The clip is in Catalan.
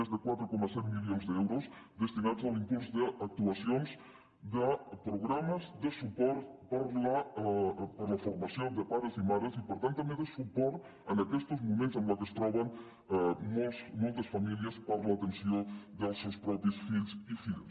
més de quatre coma set milions d’euros destinats a l’impuls d’actuacions de programes de suport per a la formació de pares i mares i per tant també de suport en aquests moments en què es troben moltes famílies per a l’atenció dels seus propis fills i filles